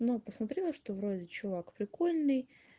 ну посмотрела что вроде чувак прикольный